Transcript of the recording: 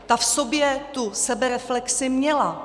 Ta v sobě tu sebereflexi měla.